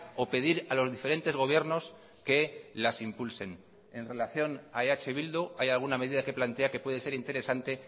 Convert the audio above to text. o pedir a los diferentes gobiernos que las impulsen en relación a eh bildu hay alguna medida que plantea que puede ser interesante